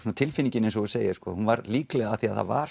tilfinningin eins og þú segir hún var líklega af því þetta var